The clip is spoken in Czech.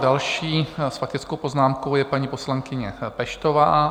Další s faktickou poznámkou je paní poslankyně Peštová.